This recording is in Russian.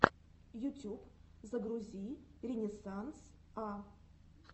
ютюб загрузи ренессанс а